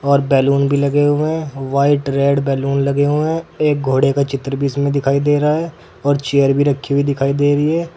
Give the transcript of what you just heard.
और बैलून भी लगे हुए हैं व्हाइट रेड बैलून लगे हुए हैं एक घोड़े का चित्र बीच में दिखाई दे रहा है और चेयर भी रखी हुई दिखाई दे रही।